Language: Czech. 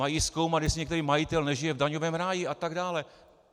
Mají zkoumat, jestli nějaký majitel nežije v daňovém ráji atd.